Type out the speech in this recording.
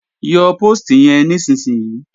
Yọ póòstì yẹn nísinsìnyí!